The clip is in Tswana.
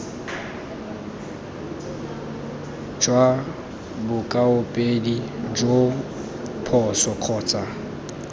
jwa bokaopedi joo phoso kgotsa